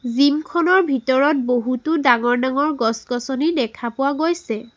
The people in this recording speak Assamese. জিম খনৰ ভিতৰত বহুতো ডাঙৰ ডাঙৰ গছ গছনি দেখা পোৱা গৈছে।